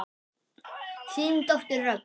Þín dóttir Dröfn.